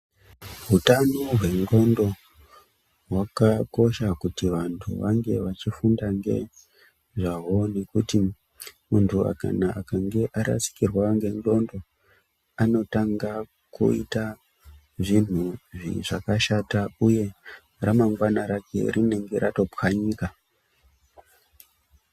Hutano hwendxondo hwakakosha kuti vantu vange vachifunda ngezvawo, ngekuti muntu akange arasikirwa ngendxondo anotanga kuyita zvintu zvakashata uye ramangwana rake rinenge ratopwanyika.